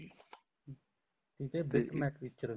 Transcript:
ਠੀਕ ਹੈ bit map picture